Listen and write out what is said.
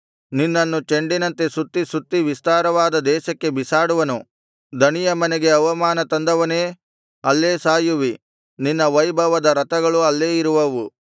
ನಿನ್ನನ್ನು ಚೆಂಡಿನಂತೆ ಸುತ್ತಿ ಸುತ್ತಿ ವಿಸ್ತಾರವಾದ ದೇಶಕ್ಕೆ ಬಿಸಾಡುವನು ದಣಿಯ ಮನೆಗೆ ಅವಮಾನ ತಂದವನೇ ಅಲ್ಲೇ ಸಾಯುವಿ ನಿನ್ನ ವೈಭವದ ರಥಗಳು ಅಲ್ಲೇ ಇರುವವು